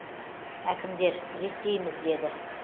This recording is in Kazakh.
әкімдер реттейміз деді